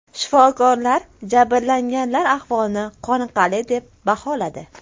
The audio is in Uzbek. Shifokorlar jabrlanganlar ahvolini qoniqarli deb baholadi.